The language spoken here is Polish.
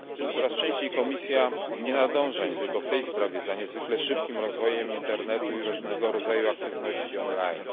Coraz częściej Komisja nie nadąża, nie tylko w tej sprawie, za niezwykle szybkim rozwojem Internetu i różnego rodzaju aktywności on line.